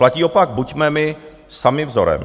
Platí opak: Buďme my sami vzorem.